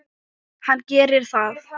Hann gerir það.